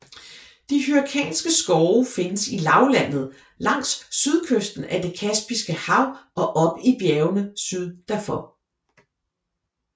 De Hyrkanske skove findes i lavlandet langs sydkysten af det Kaspiske hav og op i bjergene syd derfor